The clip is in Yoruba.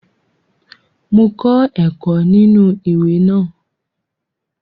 Mo kọ́ ẹ̀kọ́ nínú ìwé náà